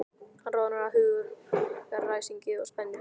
Hann roðnar af hugaræsingi og spennu.